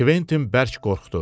Kventin bərk qorxdu.